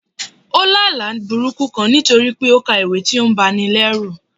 ó lá àlá burúkú kán nítorí pé ó ka ìwé tí ó ń báni lerù.